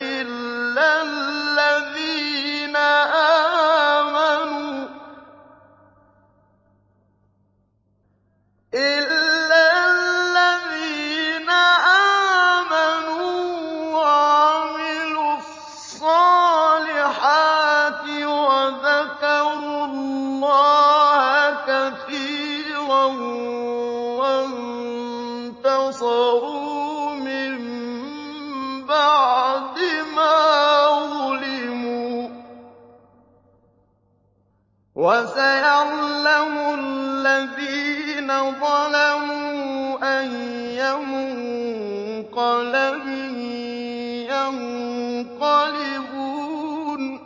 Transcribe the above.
إِلَّا الَّذِينَ آمَنُوا وَعَمِلُوا الصَّالِحَاتِ وَذَكَرُوا اللَّهَ كَثِيرًا وَانتَصَرُوا مِن بَعْدِ مَا ظُلِمُوا ۗ وَسَيَعْلَمُ الَّذِينَ ظَلَمُوا أَيَّ مُنقَلَبٍ يَنقَلِبُونَ